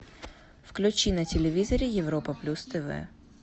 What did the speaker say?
включи на телевизоре европа плюс тв